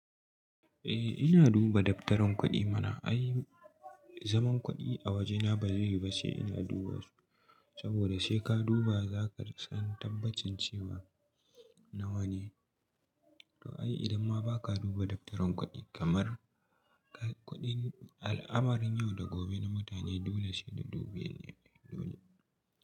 Eh ina duba daftarin kuɗi mana, ai zaman kuɗi a wajena ba zai yi ba sai ina duba su. Saboda sai ka duba zaka san tabbacin cewa nawa ne. To ai idan ma ba ka duba daftarin kuɗi kamar kuɗin al'amarin yau da gobe na mutane dole shi da dubiye dole.